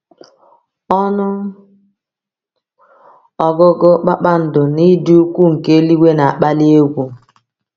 Ọnụ ọgụgụ kpakpando na ịdị ukwuu nke eluigwe na-akpali egwu.